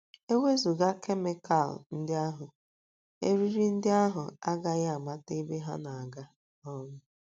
E wezụga kemikal ndị ahụ, eriri ndị ahụ agaghị amata ebe ha na - aga um.